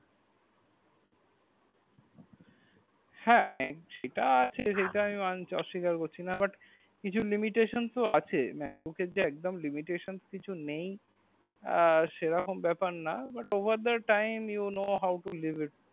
হা Mac সেটা আছে সেটা আমি মানছি সেটা আমি অস্বীকার করছি না কিছু limitation ও আছে macbook এর যে একদোম limitation কিছু নেই সে রকম ব্যাপার না but over the time you know how to leave it